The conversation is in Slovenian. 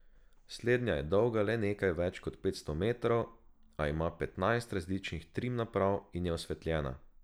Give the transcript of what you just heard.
Slednja je dolga le nekaj več kot petsto metrov, a ima petnajst različnih trim naprav in je osvetljena.